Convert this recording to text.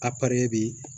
A bi